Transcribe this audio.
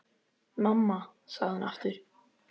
Mamma, sagði hún aftur.